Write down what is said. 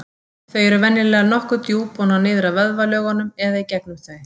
Þau eru venjulega nokkuð djúp og ná niður að vöðvalögunum eða í gegnum þau.